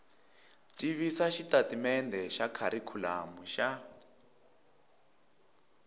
tivisa xitatimendhe xa kharikhulamu xa